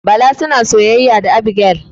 Bala suna soyayya da Abigail.